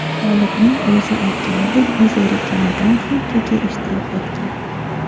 G‘olibning o‘zi aytganidek, u zerikkanidan, shunchaki ishtirok etgan.